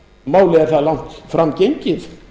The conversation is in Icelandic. málið er það langt fram gengið